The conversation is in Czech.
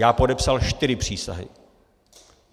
Já podepsal čtyři přísahy.